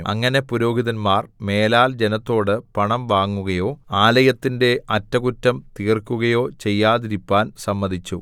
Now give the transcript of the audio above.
അങ്ങനെ പുരോഹിതന്മാർ മേലാൽ ജനത്തോട് പണം വാങ്ങുകയോ ആലയത്തിന്റെ അറ്റകുറ്റം തീർക്കുകയോ ചെയ്യാതിരിപ്പാൻ സമ്മതിച്ചു